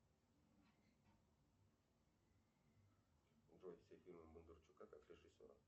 джой все фильмы бондарчука как режиссера